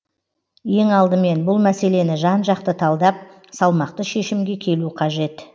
ең алдымен бұл мәселені жан жақты талдап салмақты шешімге келу қажет